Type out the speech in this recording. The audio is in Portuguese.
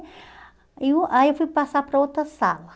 Aí eu aí eu fui passar para outra sala.